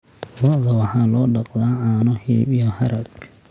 Lo'da waxaa loo dhaqdaa caano, hilib, iyo harag.